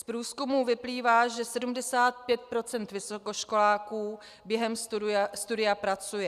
Z průzkumu vyplývá, že 75 % vysokoškoláků během studia pracuje.